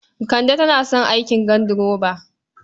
Kande tana son aikin ganduroba.